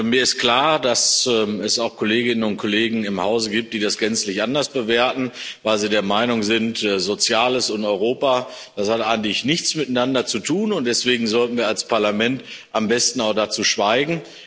Mir ist klar, dass es auch Kolleginnen und Kollegen im Hause gibt, die das gänzlich anders bewerten, weil sie der Meinung sind, Soziales und Europa, das hat eigentlich nichts miteinander zu tun, und deswegen sollten wir als Parlament am besten auch dazu schweigen.